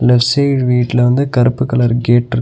Left side வீட்ல வந்து கருப்பு கலர் கேட்ருக்கு .